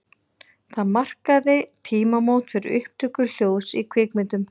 Það markaði tímamót fyrir upptöku hljóðs í kvikmyndum.